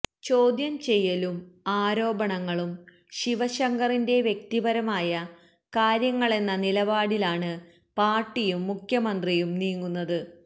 ചോദ്യം ചെയ്യലും ആരോപണങ്ങളും ശിവശങ്കറിന്റെ വ്യക്തിപരമായ കാര്യങ്ങളെന്ന നിലപാടിലാണ് പാര്ട്ടിയും മുഖ്യമന്ത്രിയും നീങ്ങുന്നത്